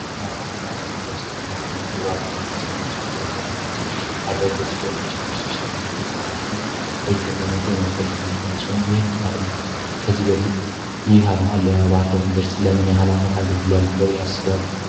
አርማ አርማ ከምንላ ውስጣ አንገድ ያንደኘው የባህርደር ዩኒቨርስቲ አርማሲሆን የባህርደ ዩኒቨርሲ ባህርደ ዩኒቨርስቲ ከሌሎች ዩኒቨርሲዎች ለመለየት ወንም ደግሞ ላይተለመው የምንጠቀሙ አርማሲሆን ይህን አርማ ከዚህ በፊት ይህ አርማ ለባህርደ ኢኒቨርሲቲ ለመን ሃላ ዓመት አገልግሏል ብለው እያሰባሉ፡፡